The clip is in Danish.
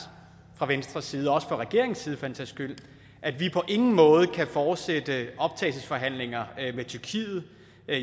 fra venstres side og også fra regeringens side for den sags skyld at vi på ingen måde kan fortsætte optagelsesforhandlinger med tyrkiet